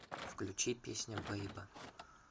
включи песня бэйба